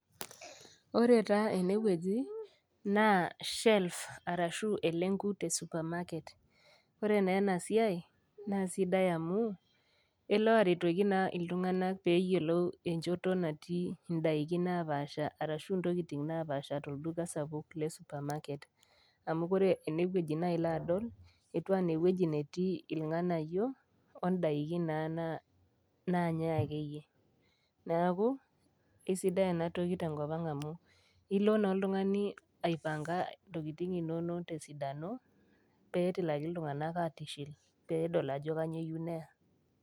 Ore taa ene wueji naa shelves arashu elenkut e supermarket, ore naa ena siai naa sidai amu, elo airetoki naa iltung'ana pee eyiolou enchoto natii indaiki napaasha arashu intokitin napaasha tolduka sapuk, le supermarket, amu ore ene wueji naa ilo aadol, etiu anaa ewueji natii ilg'anayio, o indaikin naa naayai ake iyie. Neaku ai sidai ena toki te enkop ang' amu ilo naa oltung'ani aipang'a intokitin inono te esidano, pee etilaki iltung'ana atishil, pee edol ajo kainyoo eyou neyaa.